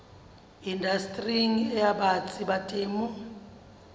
indastering e batsi ya temo